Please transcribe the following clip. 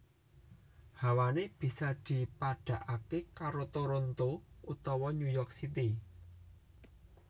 Hawané bisa dipadhakaké karo Toronto utawa New York City